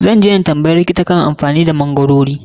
Zan je na tambayi likita kan amfanin da magwarori.